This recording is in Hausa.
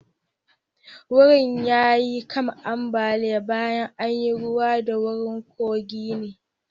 Wurin ya yi kan ambaliya baya an yi ruwa dan wurin kogi ne.